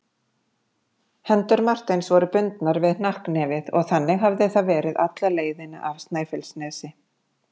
Hendur Marteins voru bundnar við hnakknefið og þannig hafði það verið alla leiðina af Snæfellsnesi.